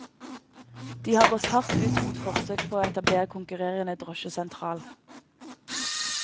De har gått hardt ut mot forsøk på å etablere konkurrerende drosjesentral.